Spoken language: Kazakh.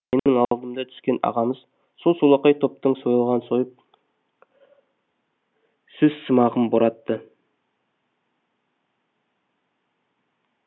менің алдымда түскен ағамыз сол солақай топтың сойылын соғып сөзсымағын боратты